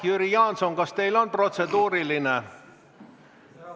Jüri Jaanson, kas teil on protseduuriline?